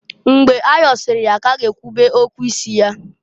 Mgbe ayọsịrị ka a ga-ekwube okwu isi ya.